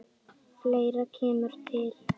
Fleira kemur til.